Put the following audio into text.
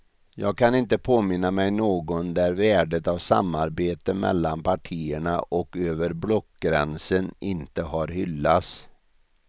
Jag kan inte påminna mig någon där värdet av samarbete mellan partierna och över blockgränsen inte har hyllats.